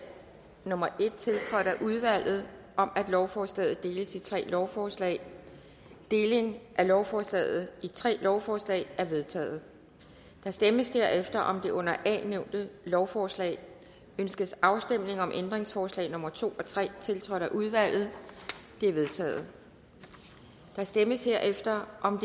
nummer en tiltrådt af udvalget om at lovforslaget deles i tre lovforslag deling af lovforslaget i tre lovforslag er vedtaget der stemmes derefter om det under a nævnte lovforslag ønskes afstemning om ændringsforslag nummer to og tre tiltrådt af udvalget de er vedtaget der stemmes herefter om